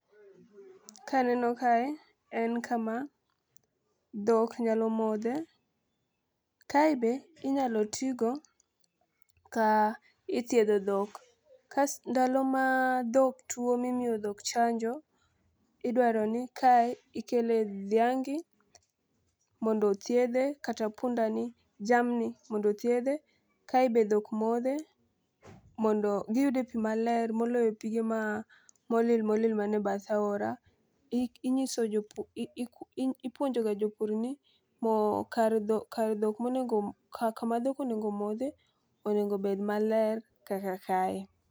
Kaneno kae en kama dhok nyalo modhe .Kae be inyalo tigo ka ithiedho dhok ka ndalo ma dhok tuo mimiyo dhok chanjo idwaro ni kae ikele dhiangi mondo othiedhe kata punda ni jamni mondo othiedhe. Kae be dhok modhe mondo giyude pii maler moloyo pige molil molil mane bath aora .Ing'iso ipuonjo ga jopur ni mo kar dho kar dhok ka kama dhok onego modhe onego bed maler kaka kae.